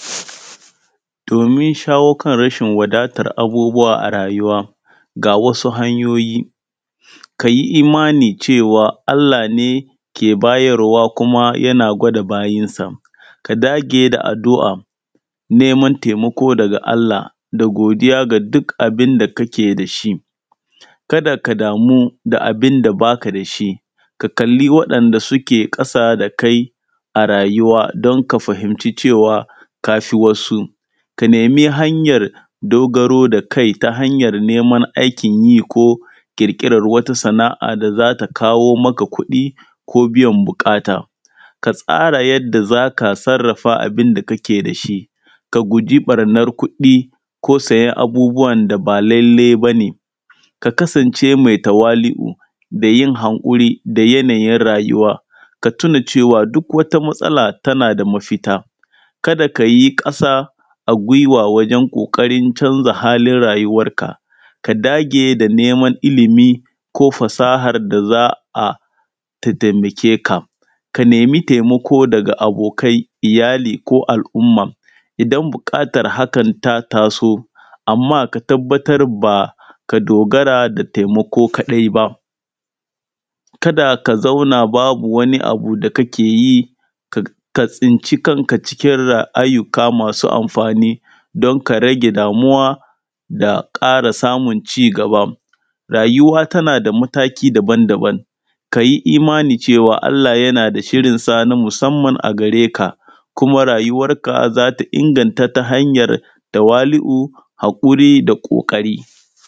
Domin shawo kan rashin wadatar abubuwa a rayuwa, ga wasu hanyoyi, ka yi imani cewa Allah ne ke bayarwa kua yana gwada bayinsa. Ya dage da addu'a, neman neman taimako daga da godiya ga duk abin da kake da shi. Kada ka damu da abin da ba ka da shi, ka kalli wanda suke ƙ asa da kai, a rayuwa don ka fahimci cewa ka fi wasu. Ka nemi hanyar dogaro da kai, ta hanyar neman aikin yi ko ƙirƙirar wata sana'a da za ta kawo maka kuɗi ko biyan buƙata. Ka tsara yadda da za ka sarrafa abin da kake da shi ka guji ɓarnar kuɗi ko sayan abubuwan da ba lallai ba ne, ka kasance mai tawali'u da yin han ƙ uri da yanayin rayuwa.. K a tuna cewa duk wata matsala tana da mafita, kada ka yi ƙasa a gwuiwa wajen ƙ oƙarin canza halin rayuwarka, ka dage da neman ilimi ko fasahar da za a, ta taimake ka. K a nemi taimako daga abokai, iyali ko al'umma, idan buƙ atar hakan ta taso. Amma ka tabbatar ba ka dogara da taimako kaɗai ba. Kada ka zauna babu wani abu da kake yi, ka tsinci kan ka cikin rayu uka masu amfani don ka rage damuwa, da ƙara samun cigaba, rayuwa tana da mataki daban-daban, ka yi omani cewa Allah yana da shirinsa na musamman a gare ka. Kuma rayuwar ka za ta inganta ta hanyar tawalu'u da haƙuri.